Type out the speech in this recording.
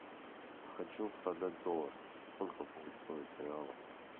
хочу продать доллар сколько будет стоить в реалах